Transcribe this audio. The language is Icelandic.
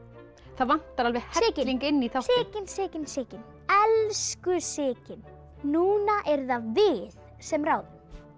það vantar alveg helling inn í þáttinn Sigyn Sigyn Sigyn elsku Sigyn núna eru það við sem ráðum